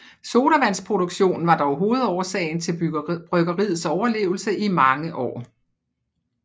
Sodavandsproduktionen var dog hovedårsagen til bryggeriets overlevelse i mange år